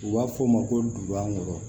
U b'a f'o ma ko dubakɔrɔ